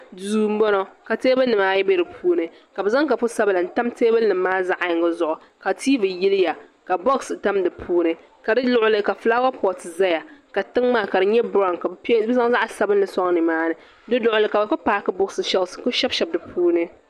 Duu mboŋɔ ka teebuli nima ayi be dipuuni ka bɛ zaŋ kopu sabla n tam teebuli nima maa zaɣa yinga zuɣu ka tiivi yiliya ka boɣasi tam dipuuni ka di luɣili ni ka filaawa pooti zaya ka tiŋa maa ka di nyɛ biraw ka bɛ zaŋ zaɣa sabinli soŋ nimaani di luɣili ni ka bɛ kuli paaki buɣisi shelsi n kuli shebishebi di puuni.